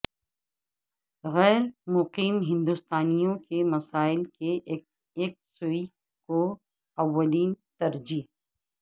غیرمقیم ہندوستانیوں کے مسائل کی یکسوئی کو اولین ترجیح